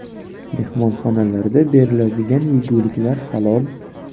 Mehmonxonalarda beriladigan yeguliklar – halol.